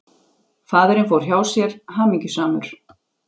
Faðirinn fór hjá sér, hamingjusamur.